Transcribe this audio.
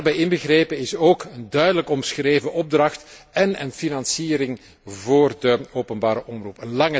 Daarbij inbegrepen is een duidelijk omschreven opdracht en een financiering voor de openbare omroep.